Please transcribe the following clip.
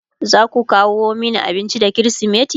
zaku kawo Mani abinci da krismeti?